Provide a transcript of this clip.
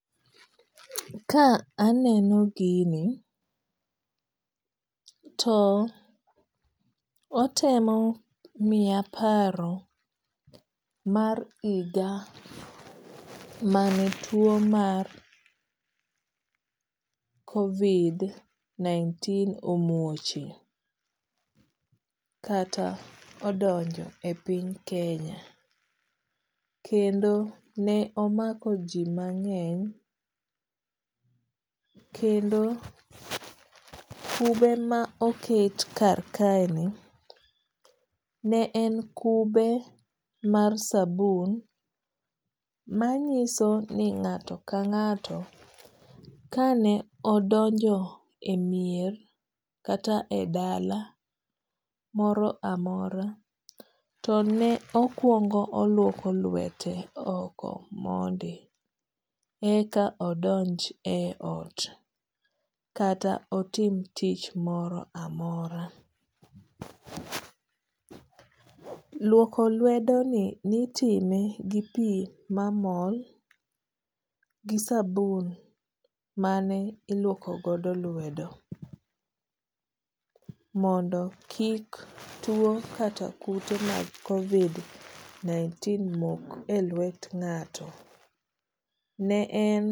Ka aneno gini to otemo miya paro mar higa mane tuo mar COVID-19 omuochie kata odonjo e piny Kenya. Kendo ne omako ji mang'eny. Kendo kube ma oket kar kae ni ne en kube mar sabun manyiso ni ng'ato ka ng'ato ka ne odonjo e mier kata e dala moro amora to ne okuongo oluoko lwete oko mondi e ka odonj e ot kata otim tich moro amora. Luoko lwedo ni nitime gi pi mamol gi sabun mane iluoko godo lwedo mondo kik tuo kata kute mag COVID-19 mok e lwet ng'ato. Ne en